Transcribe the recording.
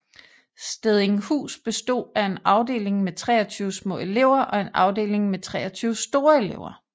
Stedinghus bestod af en afdeling med 23 små elever og en afdeling med 23 store elever